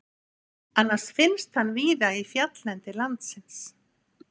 Annars finnst hann víða í fjalllendi landsins.